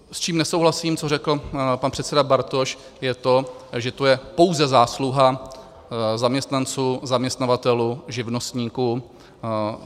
S čím nesouhlasím, co řekl pan předseda Bartoš, je to, že to je pouze zásluha zaměstnanců, zaměstnavatelů, živnostníků.